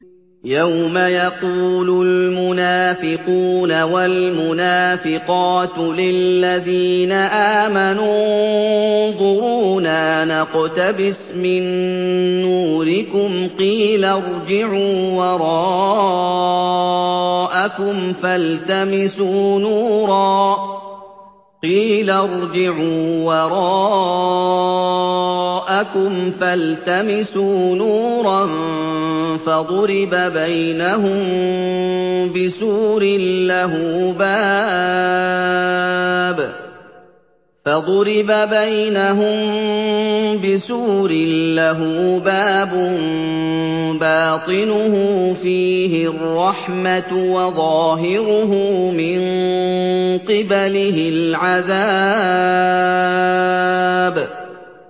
يَوْمَ يَقُولُ الْمُنَافِقُونَ وَالْمُنَافِقَاتُ لِلَّذِينَ آمَنُوا انظُرُونَا نَقْتَبِسْ مِن نُّورِكُمْ قِيلَ ارْجِعُوا وَرَاءَكُمْ فَالْتَمِسُوا نُورًا فَضُرِبَ بَيْنَهُم بِسُورٍ لَّهُ بَابٌ بَاطِنُهُ فِيهِ الرَّحْمَةُ وَظَاهِرُهُ مِن قِبَلِهِ الْعَذَابُ